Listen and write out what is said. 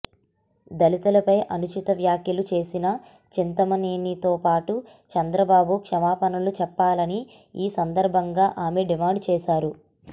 దళితులపై అనుచిత వ్యాఖ్యలు చేసిన చింతమనేనితో పాటు చంద్రబాబు క్షమపణలు చెప్పాలని ఈ సందర్భంగా ఆమె డిమాండ్ చేశారు